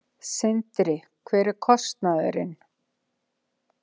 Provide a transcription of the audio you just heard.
Sindri: Hver er kostnaðurinn?